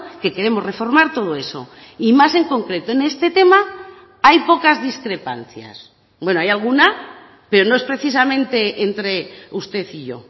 que queremos reformar todo eso y más en concreto en este tema hay pocas discrepancias bueno hay alguna pero no es precisamente entre usted y yo